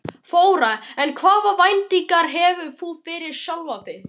Þóra: En hvaða væntingar hefur þú fyrir sjálfan þig?